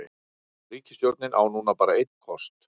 Ríkisstjórnin á núna bara einn kost